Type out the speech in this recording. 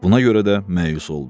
Buna görə də məyus oldu.